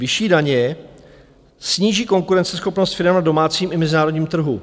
Vyšší daně sníží konkurenceschopnost firem na domácím i mezinárodním trhu.